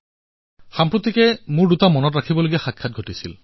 অলপতে মই দুটা স্মৰণীয় ঘটনাৰ সন্মুখীন হলো